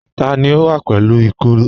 Tani ó wà pẹ̀lú ìkoro?